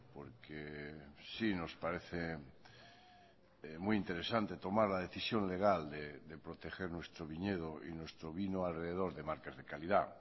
porque sí nos parece muy interesante tomar la decisión legal de proteger nuestro viñedo y nuestro vino alrededor de marcas de calidad